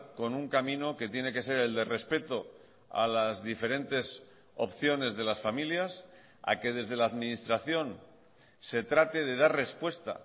con un camino que tiene que ser el de respeto a las diferentes opciones de las familias a que desde la administración se trate de dar respuesta a